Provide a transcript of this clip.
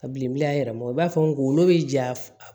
Ka bilen a yɛrɛ ma i b'a fɔ ngolo be ja